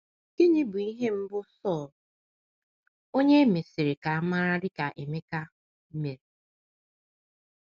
Gịnị bụ ihe mbụ Sọl — onye e mesịrị mara dị ka Emeka — mere?